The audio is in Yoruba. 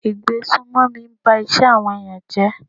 Ìgbésùmọ̀mí ń ba iṣẹ́ àwọn ẹ̀yàn jẹ́.